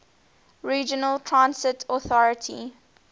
regional transit authority